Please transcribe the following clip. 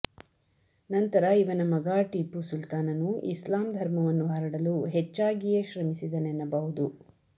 ನಂತರ ಇವನ ಮಗ ಟೀಪೂಸುಲ್ತಾನನು ಇಸ್ಲಾಂ ಧರ್ಮವನ್ನು ಹರಡಲು ಹೆಚ್ಚಾಗಿಯೇ ಶ್ರಮಿಸಿದನೆನ್ನಬಹುದು